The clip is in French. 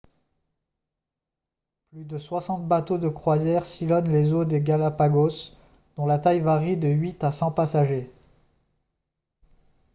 plus de 60 bateaux de croisière sillonnent les eaux des galápagos dont la taille varie de 8 à 100 passagers